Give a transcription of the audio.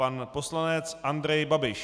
Pan poslanec Andrej Babiš.